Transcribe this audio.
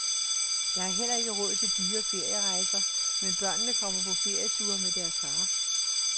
Der er heller ikke råd til dyre ferierejser, men børnene kommer på ferieture med deres far.